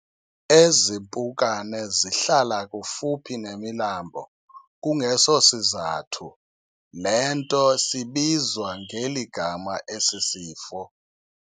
Ezi mpukane zihlala kufuphi nemilambo, kungeso sizathu le nto sibizwa ngeli gama esi sifo.